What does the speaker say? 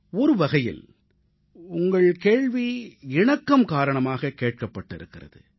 ஒரு வகையில் உங்கள் கேள்வி இணக்கம் காரணமாக கேட்கப்பட்டிருக்கிறது